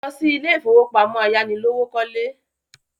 Lọ sí ilé ìfowópamọ́ ayánilówókọ́lé!